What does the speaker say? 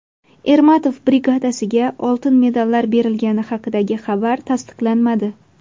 Ermatov brigadasiga oltin medallar berilgani haqidagi xabar tasdiqlanmadi.